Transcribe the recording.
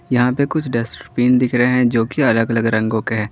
यहां पे कुछ डस्टबिन दिख रहे हैं जो की अलग अलग रंगों के है।